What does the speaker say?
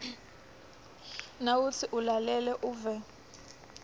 nawutsi ulalele uve